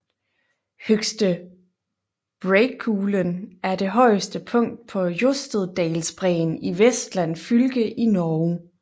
Høgste Breakulen er det højeste punkt på Jostedalsbræen i Vestland fylke i Norge